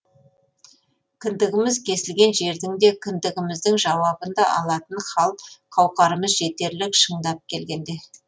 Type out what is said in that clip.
кіндігіміз кесілген жердің де кімдігіміздің жауабын да алатын хал қауқарымыз жетерлік шындап келгенде